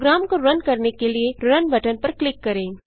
programme को run करने के लिए रुन बटन पर क्लिक करें